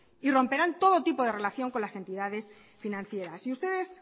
y romperán todo tipo de relación con las entidades financieras y ustedes